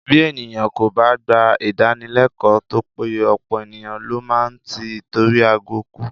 Bí ènìyàn kò bá gba Ìdánilẹ́kọ̀ọ́ tó péye, ọ̀pọ̀ ènìyàn ló má máa tí itori agọ̀ kú